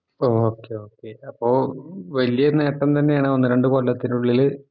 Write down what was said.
ഓഹ് okay okay അപ്പൊ വലിയൊരു നേട്ടം തന്നെയാണ് ഒന്ന് രണ്ട് കൊല്ലത്തില്